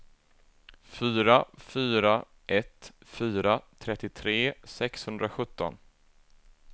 fyra fyra ett fyra trettiotre sexhundrasjutton